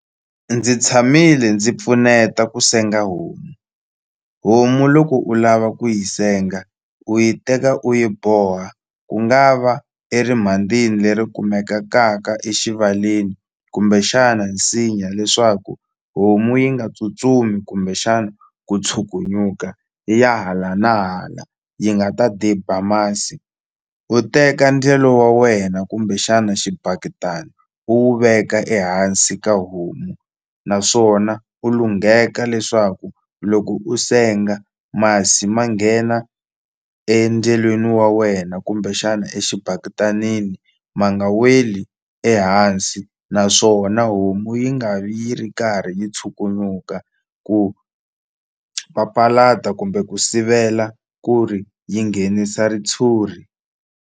Ndzi tshamile ndzi pfuneta ku senga homu, homu loko u lava ku yi senga u yi teka u yi boha ku nga va erimhandzini leri exivaleni kumbexana nsinya leswaku homu yi nga tsutsumi kumbexana ku tshukunyuka yi ya hala na hala yi nga ta diba masi u teka ndyelo wa wena kumbexana xibaketani u wu veka ehansi ka homu naswona u lungheka leswaku loko u senga masi ma nghena endyelweni wa wena kumbexana exibaketani ma nga weli ehansi naswona homu yi nga vi yi ri karhi yi chuluka ku papalata kumbe ku sivela ku ri yi nghenisa ritshuri.